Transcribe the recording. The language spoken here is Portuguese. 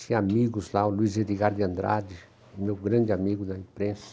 Tinha amigos lá, o Luiz Edgar de Andrade, meu grande amigo da imprensa.